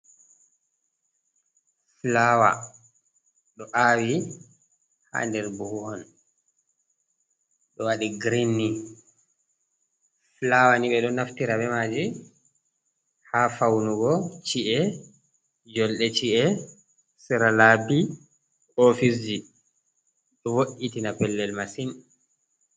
Fulawa do awi ha nder buhu on ɗo wadi girin ny fulawa ni ɓe ɗo naftira be maji ha faunugo chi’e jolde chi’e siralabi ofisji ɗo vo’itina pellel masin.